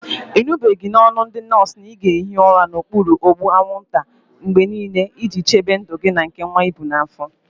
Ị nụbeghị n'ọnụ ndị nọọsụ na ị ga-ehi ụra n'okpuru ụgbụ anwụnta mgbe niile, iji chebe ndụ gị na nke nwa gị dị n'afọ?